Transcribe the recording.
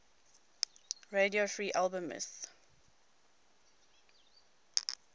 radio free albemuth